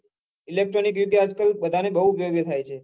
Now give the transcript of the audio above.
electronic યુગ એ આજકાલ બઘા ને બહુ ઉપયોગી થાય છે